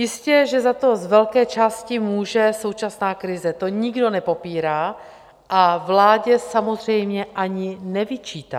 Jistě že za to z velké části může současná krize, to nikdo nepopírá a vládě samozřejmě ani nevyčítá.